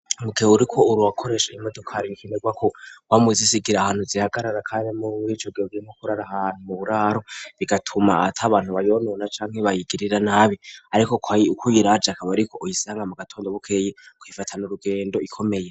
Mukewe uriko uru wakoresha imodokari bikenerwa kowa muzisigira ahantu zihagarara kanri muri wico gewegirimo kurara hantu mu buraro bigatuma ata abantu bayonona canke bayigirira nabi, ariko ko ayi uko y iraje akaba, ariko uyisanga mu gatondo bukeye kwifatana urugendo ikomeye.